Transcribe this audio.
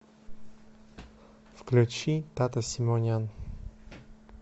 включи тата симонян